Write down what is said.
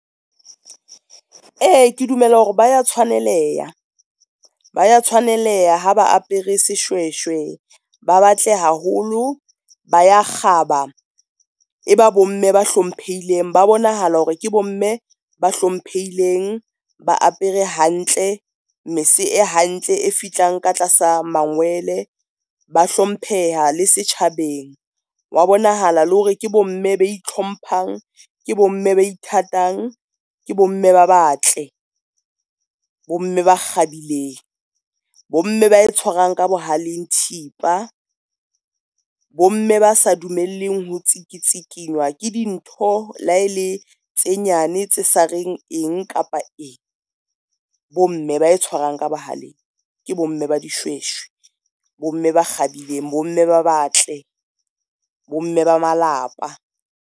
E, ke dumela hore ba ya tshwaneleha, ba ya tshwaneleha ha ba apere seshweshwe, ba batle haholo, ba ya kgaba, e ba bomme ba hlomphehileng, ba bonahala hore ke bomme ba hlomphehileng ba apere hantle. Mese e hantle e fihlang ka tlasa mangwele, ba hlompheha le setjhabeng wa bonahala le hore ke bomme ba ithlomphang, ke bomme ba ithatang, ke bomme ba batle. Bomme ba kgabileng, bomme ba e tshwarang ka bohaleng thipa, bomme ba sa dumelleng ho tsikitsikinywa ke dintho le ha ele tse nyane tse sa reng eng kapa eng. Bomme ba e tshwarang ka bohaleng ke bomme ba dishweshwe, bomme ba kgabileng, bomme ba batle bo mme ba malapa.